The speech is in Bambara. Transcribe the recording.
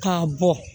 K'a bɔ